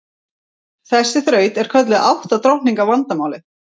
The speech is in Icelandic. Þessi þraut er kölluð átta drottninga vandamálið.